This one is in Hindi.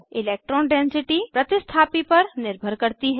इलेक्ट्रॉन डेन्सिटी प्रतिस्थापी पर निर्भर करती है